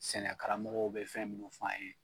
Sɛnɛ karamɔgow bɛ fɛn minnu fɔ an ye.